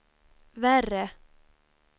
värre